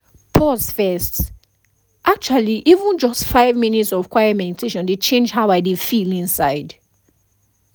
sometimes i dey lis ten to one meditation app when i truly need to reset my mind